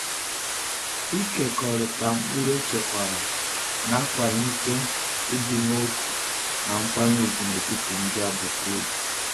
Ịkekọrịta mkpụrụ echekwara na-akwalite ịdị n’otu na nkwanye ùgwù n’etiti ndị agbata obi.